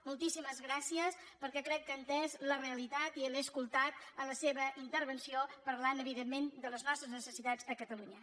moltíssimes gràcies perquè crec que ha entès la realitat i l’he escoltat en la seva intervenció parlant evidentment de les nostres necessitats a catalunya